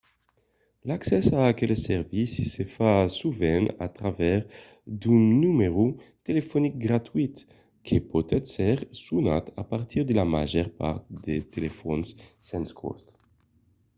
l'accès a aqueles servicis se fa sovent a travèrs d'un numèro telefonic gratuït que pòt èsser sonat a partir de la màger part de telefòns sens còst